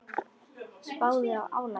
Spáðu í álagið.